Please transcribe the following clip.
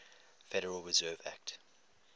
federal reserve act